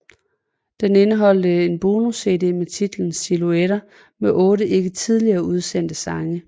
Den indeholder en bonus CD med titlen Silhuetter med otte ikke tidligere udsendte sange